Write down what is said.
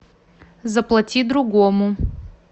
заплати другому